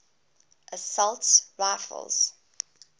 assault rifles